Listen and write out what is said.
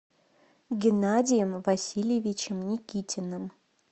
геннадием васильевичем никитиным